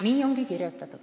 Nii ongi.